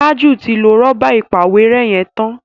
Taju tí lọ Rọ́bà ìpàwérẹ́ yén tán.